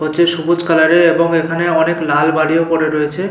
হচ্ছে সবুজ কালার -এর এবং এখানে অনেক লাল বালিও পরে রয়েছে।